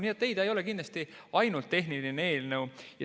Nii et ei, ta ei ole kindlasti ainult tehniline eelnõu.